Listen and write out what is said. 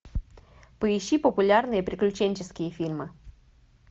поищи популярные приключенческие фильмы